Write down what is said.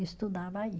Estudava aí.